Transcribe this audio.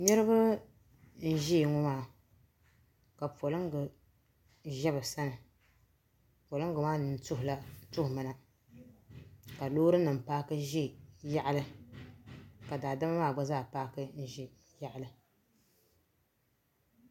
Niriba n ʒɛya ŋɔ maa ka polinga ʒɛ bi sani polinga maa nini tuhi mi na ka loori nim paaki ʒɛ yaɣali ka daadama maa gba zaa paaki n ʒɛ yaɣali.